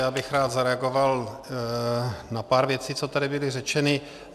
Já bych rád zareagoval na pár věcí, co tady byly řečeny.